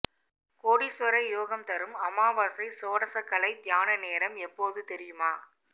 கோடீஸ்வர யோகம் தரும் அமாவாசை சோடசக்கலை தியான நேரம் எப்போது தெரியுமா